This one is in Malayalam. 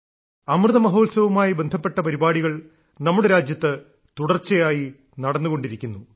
അമൃതമഹോത്സവവുമായി ബന്ധപ്പെട്ട പരിപാടികൾ നമ്മുടെ രാജ്യത്ത് തുടർച്ചയായി നടന്നുകൊണ്ടിരിക്കുന്നു